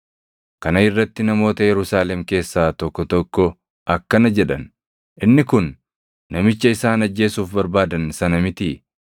Kana irratti namoota Yerusaalem keessaa tokko tokko akkana jedhan; “Inni kun namicha isaan ajjeesuuf barbaadan sana mitii?